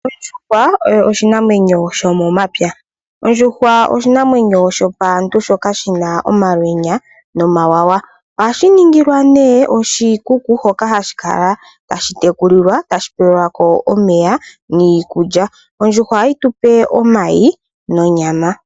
Ondjuhwa oyo oshinamwenyo shomomapya. Ondjuhwa oshinamwenyo shopaantu shoka shina omalweenya nomawawa, ohashi ninhilwa ne oshikuku hoka hashikala tashi tekulilwa tashi pewelwako omeya niikulya. Ondjuhwa ohayi tupe omayi nonyama.